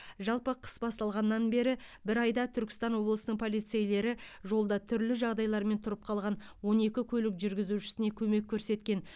жалпы қыс басталғаннан бері бір айда түркістан облысының полицейлері жолда түрлі жағдайлармен тұрып қалған он екі көлік жүргізушісіне көмек көрсеткен